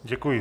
Děkuji.